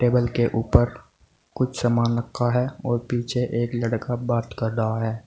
Table के ऊपर कुछ सामान रखा है और पीछे एक लड़का बात कर रहा है।